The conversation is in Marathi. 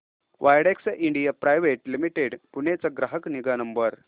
Widex India private limited Pune चा ग्राहक निगा नंबर